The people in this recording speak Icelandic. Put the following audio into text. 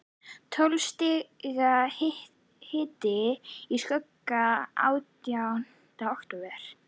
Tólf stiga hiti í skugga átjánda október.